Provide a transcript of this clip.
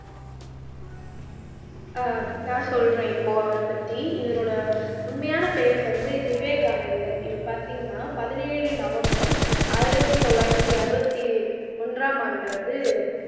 அஹ் நான் சொல்றேன் இப்போ அவரைப் பத்தி இவரோட உண்மையான பெயர் வந்து விவேகானந்தர் இவர் பார்த்தீங்கன்னா பதினேழு நவம்பர் ஆயிரத்தி தொள்ளாயிரத்தி அறுபத்தி ஒன்றாம் ஆண்டுல வந்து